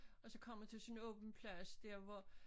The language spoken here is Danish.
Og så kommer til sådan en åben plads der hvor